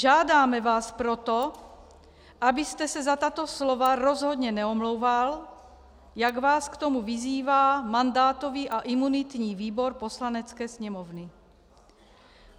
Žádáme vás proto, abyste se za tato slova rozhodně neomlouval, jak vás k tomu vyzývá mandátový a imunitní výbor Poslanecké sněmovny.